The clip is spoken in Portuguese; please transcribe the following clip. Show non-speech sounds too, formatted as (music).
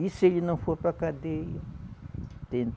E se ele não for para cadeia? (unintelligible)